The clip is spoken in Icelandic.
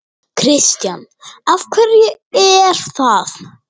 Kristján: Af hverju er það?